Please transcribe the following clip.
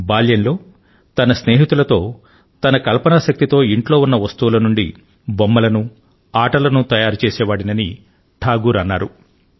బాల్యంలో తన స్నేహితులతో తన కల్పనా శక్తితో ఇంట్లో ఉన్న వస్తువుల నుండి బొమ్మలను ఆటలను తయారు చేసేవాడినని టాగోర్ అన్నారు